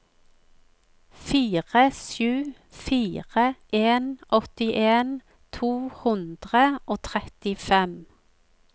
fire sju fire en åttien to hundre og trettifem